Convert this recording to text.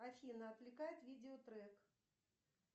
афина отвлекает видео трек